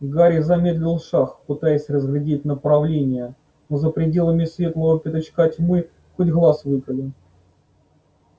гарри замедлил шаг пытаясь разглядеть направление но за пределами светлого пятачка тьма хоть глаз выколи